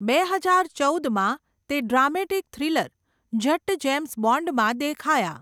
બે હજાર ચૌદમાં તે ડ્રામેટિક થ્રિલર 'જટ્ટ જેમ્સ બોન્ડ'માં દેખાયા.